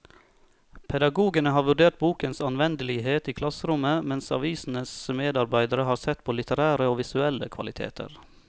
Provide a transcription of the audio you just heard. Pedagogene har vurdert bokens anvendelighet i klasserommet, mens avisens medarbeidere har sett på litterære og visuelle kvaliteter.